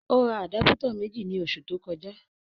Ó ra àdápútọ̀ méjì ní oṣù tó kọjá